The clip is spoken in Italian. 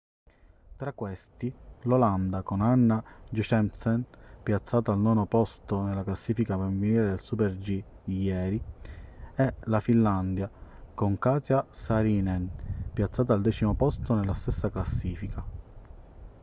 tra questi l'olanda con anna jochemsen piazzata al nono posto nella classifica femminile nel super-g di ieri e la finlandia con katja saarinen piazzata al decimo posto nella stessa classifica